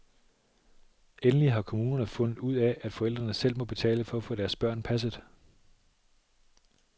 Endelig har kommunerne fundet ud af, at forældrene selv må betale for at få deres børn passet.